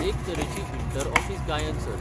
एके तरेची inter office गायन सर्त.